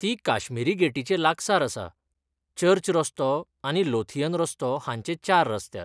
ती काश्मिरी गेटीचे लागसार आसा, चर्च रस्तो आनी लोथियन रस्तो हांचे चार रस्त्यार.